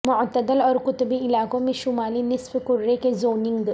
معتدل اور قطبی علاقوں میں شمالی نصف کرہ کے زوننگ